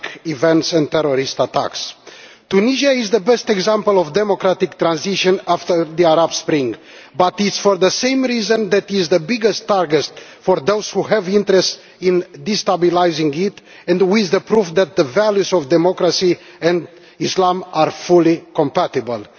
events and terrorist attacks. Tunisia is the best example of democratic transition after the Arab Spring, but it is for this same reason that it is the biggest target for those who have interests in destabilising it and with it, the proof that the values of democracy and Islam are fully compatible.